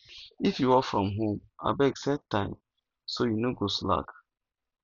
if you work from home abeg set time so you no go slack